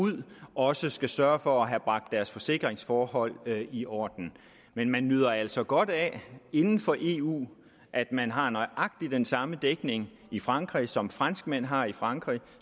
ud også skal sørge for at have bragt deres forsikringsforhold i orden men man nyder altså godt af inden for eu at man har nøjagtig den samme dækning i frankrig som franskmænd har i frankrig og